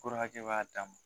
Fura hakɛ b'a dan ma